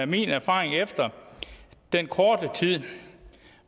min erfaring efter den korte tid